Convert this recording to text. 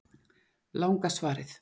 Langa svarið